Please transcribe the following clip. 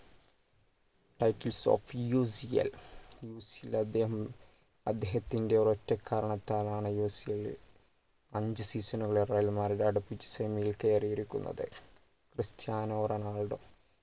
ofUCLUCL ൽ അദ്ദേഹം അദ്ദേഹത്തിൻ്റെ ഒരൊറ്റ കാരണത്താൽ ആണ് UCL ൽ അഞ്ച് season കളെ real madrid അടുപ്പിച്ച് semi ൽ കേറിയിരിക്കുന്നത് ക്രിസ്റ്റ്യാനോ റൊണാൾഡോ